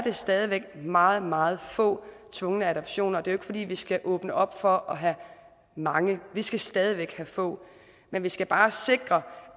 stadig væk meget meget få tvungne adoptioner det jo fordi vi skal åbne op for at have mange vi skal stadig væk have få men vi skal bare sikre